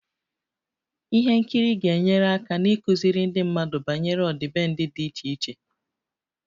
Ihe nkiri ga-enyere aka n'ịkụziri ndị mmadụ banyere ọdịbendị dị iche iche